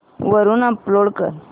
वरून डाऊनलोड कर